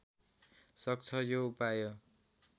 सक्छ यो उपाय